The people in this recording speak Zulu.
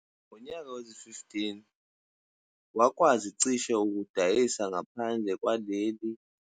Ngonyaka wezi-2015, wakwazi ukudayisa ngaphandle lwalelicishe amathani angama-31 kalamula futhi ngowezi-2016, lesi sibalo sakhuphuka kakhulu saba ngamathani angu-168.